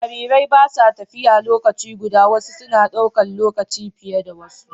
Jarirai ba sa tafiya lokaci guda, wasu suna ɗaukar lokaci fiye da wasu